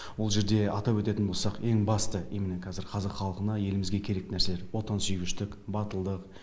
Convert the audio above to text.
ол жерде атап өтетін болсақ ең басты именно кәзір қазақ халқына елімізге керек нәрселер отансүйгіштік батылдық